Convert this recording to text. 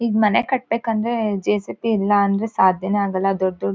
ಈಗ್ ಮನೆ ಕಟ್ಬೆಕ್ ಅಂದ್ರೆ ಜೆ ಸಿ ಬಿ ಇಲ್ಲ ಅಂದ್ರೆ ಸಾಧ್ಯನೇ ಆಗಲ್ಲಾ ದೊಡ್ಡ್ ದೊಡ್ಡ್--